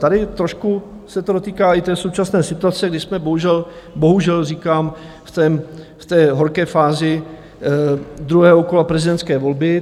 Tady trošku se to dotýká i té současné situace, kdy jsme bohužel, bohužel říkám, v té horké fázi druhého kola prezidentské volby.